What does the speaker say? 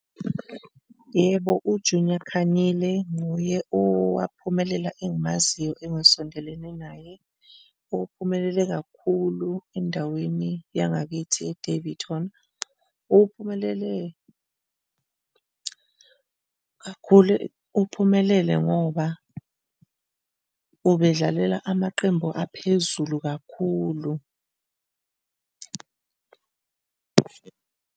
Yebo, uJunior Khanyile nguye owaphumelela engimaziyo engisondelene naye, uphumelele kakhulu endaweni yangakithi e-Daveyton. Uphumelele kakhulu, uphumelele ngoba ubedlalela amaqembu aphezulu kakhulu.